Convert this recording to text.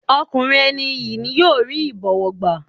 Ọkùnrin ẹni iyì ni yóò rí ìbọ̀wọ̀ gbá.